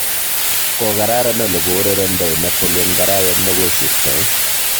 Kokararan ole kourerendoi Napoli eng arawet negosirtoi